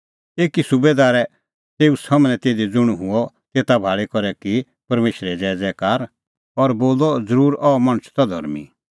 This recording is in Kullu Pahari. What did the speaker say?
एकी सुबैदारै तेऊ सम्हनै तिधी ज़ुंण हुअ तेता भाल़ी करै की परमेशरे ज़ैज़ैकार और बोलअ ज़रूर अह मणछ त धर्मीं